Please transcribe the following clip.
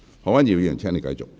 何君堯議員，請繼續發言。